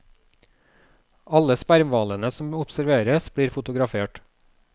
Alle spermhvalene som observeres, blir fotografert.